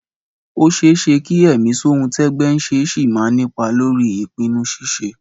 Ó ṣeé ṣe kí ẹ̀mí ṣohun-tẹ́gbẹ́-ń-ṣe ṣì máa nípa lórí ìpinnu ṣíṣe